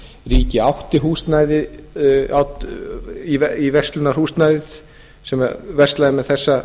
það hafa hins vegar orðið miklar breytingar á undanförnum árum ríkið átti verslunarhúsnæðið sem versla með þessa